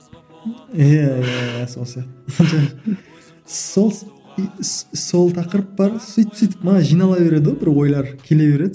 иә сол сияқты сол сол тақырып бар сөйтіп сөйтіп мана жинала береді ғой бір ойлар келе береді